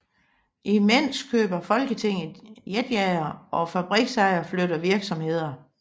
Imens køber Folketinget jetjagere og fabriksejere flytter virksomheder